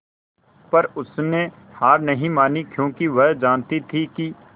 पर उसने हार नहीं मानी क्योंकि वह जानती थी कि